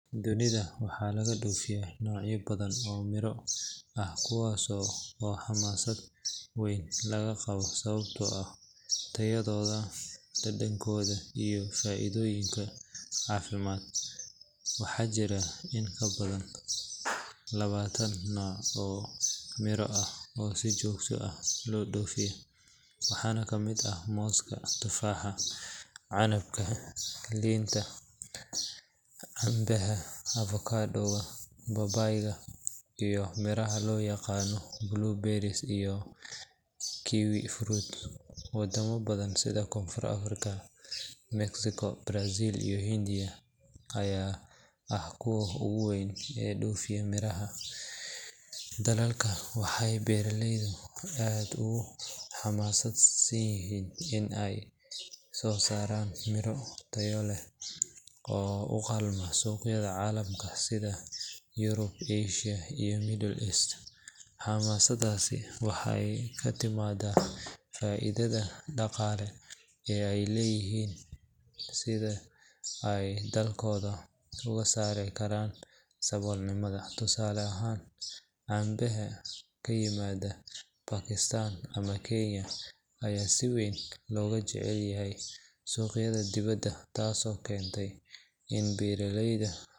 Dunida waxaa laga dhoofiyaa noocyo badan oo miro ah kuwaas oo xamaasad weyn laga qabo sababtoo ah tayadooda, dhadhankooda iyo faa’iidooyinka caafimaad. Waxaa jira in ka badan labaatan nooc oo miro ah oo si joogto ah loo dhoofiyo, waxaana ka mid ah mooska, tufaaxa, canabka, liinta, cambeha, avokado, babaayga iyo miraha loo yaqaan blueberries iyo kiwifruit. Wadamo badan sida Koonfur Afrika, Mexico, Brazil, iyo Hindiya ayaa ah kuwa ugu weyn ee dhoofiya mirahan. Dalalkan waxay beeraleydu aad ugu xamaasadsan yihiin in ay soo saaraan miro tayo leh oo u qalma suuqyada caalamka sida Europe, Asia iyo Middle East. Xamaasaddaasi waxay ka timaaddaa faa’iidada dhaqaale ee ay helaan iyo sida ay dalalkooda uga saari karaan saboolnimada. Tusaale ahaan cambeha ka yimaada Pakistan ama Kenya ayaa si weyn looga jecel yahay suuqyada dibadda taasoo keentay in beeraleyda.